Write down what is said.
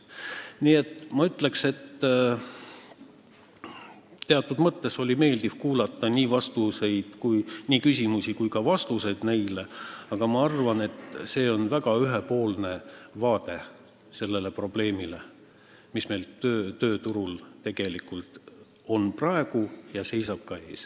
Nii et ma ütleks, et teatud mõttes oli meeldiv kuulata nii küsimusi kui ka vastuseid neile, aga ma arvan, et see on olnud väga ühepoolne vaade sellele probleemile, mis meil tööturul praegu ja ka tulevikus on.